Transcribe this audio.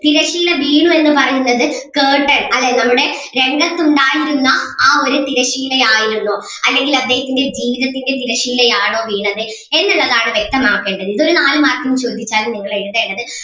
തിരശീല വീണു എന്ന് പറയുന്നത് curtain അതെ നമ്മുടെ രംഗത്തുണ്ടായിരുന്ന ആ ഒരു തിരശീല ആയിരുന്നോ അല്ലെങ്കിൽ അദ്ദേഹത്തിൻ്റെ ജീവിതത്തിന്റെ തിരശീല ആണോ വീണത് എന്നുള്ളതാണ് വ്യക്തമാക്കേണ്ടത് ഇതൊരു നാല് mark ന് ചോദിച്ചാൽ നിങ്ങൾ എഴുതേണ്ടത്